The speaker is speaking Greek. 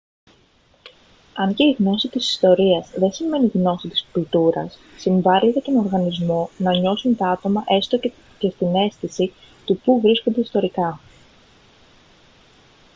αν και η γνώση της ιστορίας δεν σημαίνει γνώση της κουλτούρας συμβάλει για τον οργανισμό να νιώσουν τα άτομα έστω στην αίσθηση του πού βρίσκονται ιστορικά